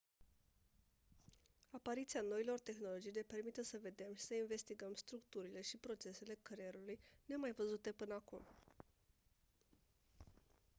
apariția noilor tehnologii ne permite să vedem și să investigăm structurile și procesele creierului nemaivăzute până acum